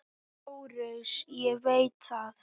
LÁRUS: Ég veit það.